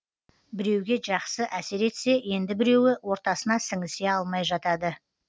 біреуге жақсы әсер етсе енді біреуі ортасына сіңісе алмай жатады